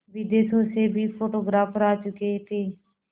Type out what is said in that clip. विदेशों से भी फोटोग्राफर आ चुके थे